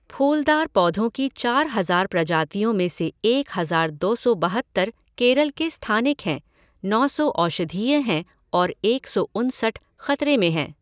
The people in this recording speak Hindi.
फूलदार पौधों की चार हज़ार प्रजातियों में से एक हज़ार दो सौ बहत्तर केरल के स्थानिक हैं, नौ सौ औषधीय हैं और एक सौ उनसठ ख़तरे में है।